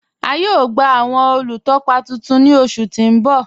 A yóò gba awọn olútọ́pá tuntun ní ọṣù tí n bọ̀.